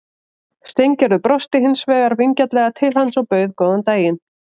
Steingerður brosti hins vegar vingjarnlega til hans og bauð góðan daginn.